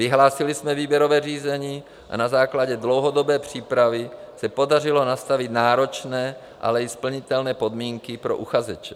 Vyhlásili jsme výběrové řízení a na základě dlouhodobé přípravy se podařilo nastavit náročné, ale i splnitelné podmínky pro uchazeče.